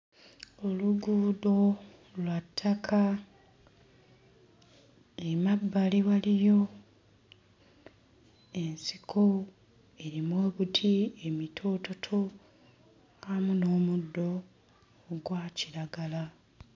Oluguudo lwa ttaka emabbali waliyo ensiko erimu obuti emitoototo amu n'omuddo ogwa kiragala.